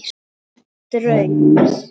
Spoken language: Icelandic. Án draums.